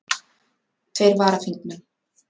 Tveir varaþingmenn